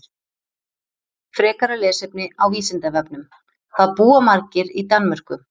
Frekara lesefni á Vísindavefnum: Hvað búa margir í Danmörku?